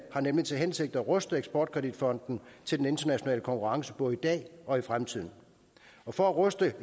har nemlig til hensigt at ruste eksport kredit fonden til den internationale konkurrence både i dag og i fremtiden og for at ruste